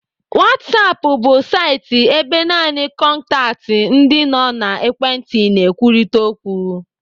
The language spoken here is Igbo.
Whatsapp bu saịtị ebe naanị kọntaktị ndị nọ n'ekwentị na-ekwurịta okwu.